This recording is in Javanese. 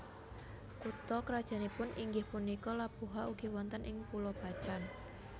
Kutha krajannipun inggih punika Labuha ugi wonten ing Pulo Bacan